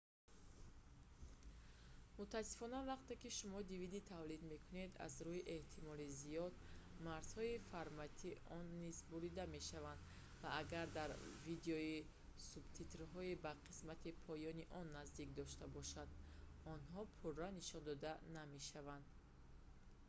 мутаассифона вақте ки шумо dvd тавлид мекунед аз рӯи эҳтимоли зиёд марзҳои формати он низ бурида мешавад ва агар дар видео субтитрҳои ба қисмати поёни он наздик дошта бошад онҳо пурра нишон дода намешаванд